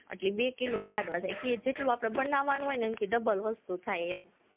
એટલે બે કિલો જ લાડવા થાય, જેટલું આપણે બનાવવાનું હોય ને એનથી double વસ્તુ થાય એમ